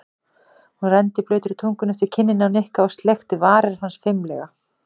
Hún renndi blautri tungunni eftir kinninni á Nikka og sleikti varir hans fimlega.